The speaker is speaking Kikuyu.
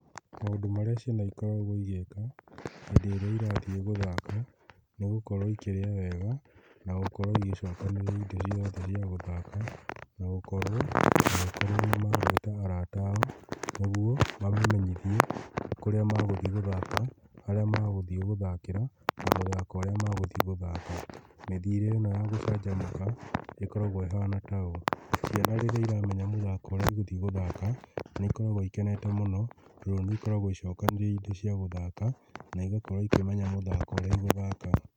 Maũndũ marĩa ciana ikoragwo igĩka hĩndĩ ĩrĩa irathiĩ gũthaka nĩ gũkorwo ikĩrĩa wega na gũkorwo igĩcokanĩrĩria indo ciothe cia gũthaka na gũkorwo nĩ magwĩta arata ao nĩguo mamamenyithie kũrĩa magũthiĩ gũthaka, harĩa magũthiĩ gũthakĩra na mĩthako ĩrĩa magũthiĩ gũthaka. Mĩthiĩre ĩno ya gũcanjamũka ĩkoragwo ĩhana ta ũũ, Ciana rĩrĩa iramenya mũthako ũrĩa cigũthiĩ gũthaka nĩ ikoragwo ikenete mũno, tondũ nĩikoragwo icokanĩrĩirie indo cia gũthaka na igakorwo ikĩmenya mũthako ũrĩa igũthaka